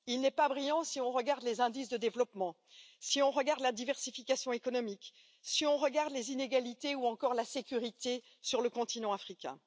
Il n'est pas brillant si on regarde les indices de développement, si on regarde la diversification économique, si on regarde les inégalités, ou encore la sécurité sur le continent africain.